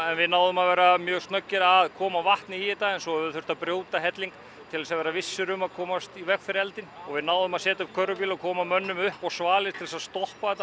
við náðum að vera mjög snöggir að koma vatni í þetta en svo höfum við þurft að brjóta helling til þess að vera vissir um að komast í veg fyrir eldinn við náðum að setja upp körfubíl og koma mönnum upp á svalir til þess að stoppa þetta